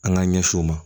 An k'an ɲɛsin u ma